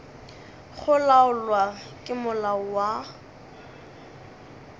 go laolwa ke molao wa